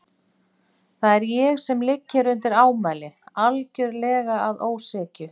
Það er ég sem ligg hér undir ámæli, algjörlega að ósekju.